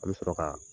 An bɛ sɔrɔ ka